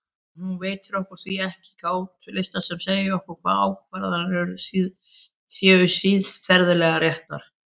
Hún veitir okkur því ekki gátlista sem segja okkur hvaða ákvarðanir séu siðferðilega réttar.